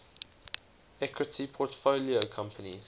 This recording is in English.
equity portfolio companies